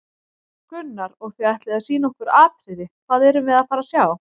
Gunnar: Og þið ætlið að sýna okkur atriði, hvað erum við að fara að sjá?